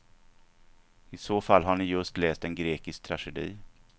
I så fall har ni just läst en grekisk tragedi.